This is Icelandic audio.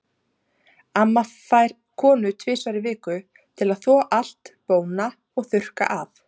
Amma fær konu tvisvar í viku til að þvo allt, bóna og þurrka af.